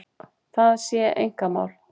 Það sé einkamál